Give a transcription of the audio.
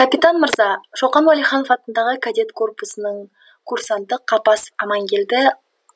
капитан мырза шоқан уәлиханов атындағы кадет корпусының курсанты қапасов амангелді